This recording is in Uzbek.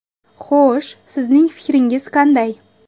Xo‘sh, sizning fikringiz qanday?